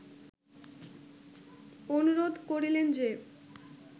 অনুরোধ করিলেন যে